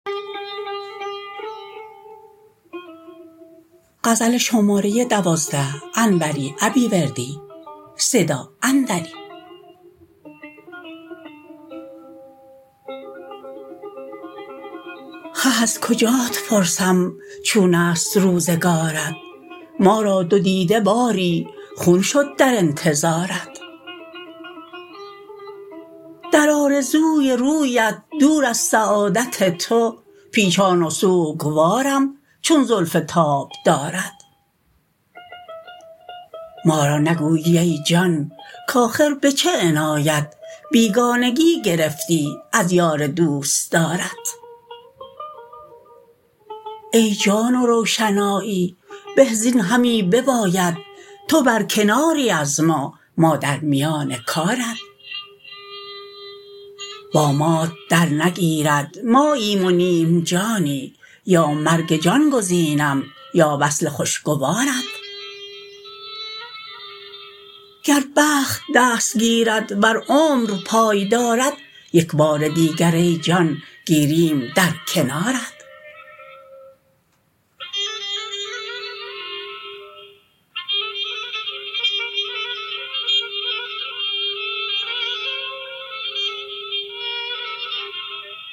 خه از کجات پرسم چونست روزگارت ما را دو دیده باری خون شد در انتظارت در آرزوی رویت دور از سعادت تو پیچان و سوگوارم چون زلف تابدارت ما را نگویی ای جان کاخر به چه عنایت بیگانگی گرفتی از یار دوستدارت ای جان و روشنایی به زین همی بباید تو برکناری از ما ما در میان کارت با مات در نگیرد ماییم و نیم جانی یا مرگ جان گزینم یا وصل خوشگوارت گر بخت دست گیرد ور عمر پای دارد یکبار دیگر ای جان گیریم در کنارت